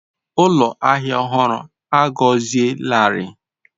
Ụlọ ahịa ọhụrụ a gọzielarị.